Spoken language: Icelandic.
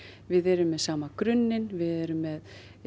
við erum með sama grunninn við erum með